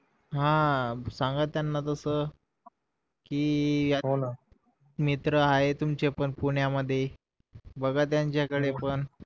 हा सांगा त्याना तस कि मित्र आहे तुमचे पण पुण्या मध्ये बघा त्याच्या कडे पण